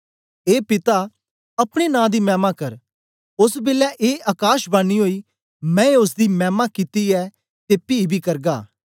ए पिता अपने नां दी मैमा कर ओस बेलै ए अकाशवाणी ओई मैं ओसदी मैमा कित्ती ऐ ते पी बी करगा